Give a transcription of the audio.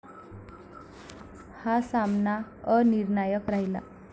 हा सामना अनिर्णायक राहिला.